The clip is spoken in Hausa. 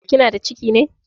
Kina da ciki ne?